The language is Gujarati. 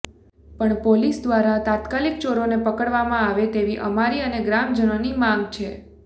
પણ પોલીસ દ્વારા તાત્કાલિક ચોરોને પકડવામાં આવે તેવી અમારી અને ગ્રામજનોની માગ છે